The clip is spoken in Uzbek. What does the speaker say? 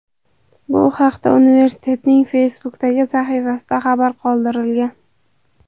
Bu haqda universitetning Facebook’dagi sahifasida xabar qoldirilgan .